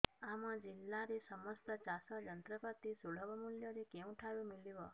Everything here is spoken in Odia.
ଆମ ଜିଲ୍ଲାରେ ସମସ୍ତ ଚାଷ ଯନ୍ତ୍ରପାତି ସୁଲଭ ମୁଲ୍ଯରେ କେଉଁଠାରୁ ମିଳିବ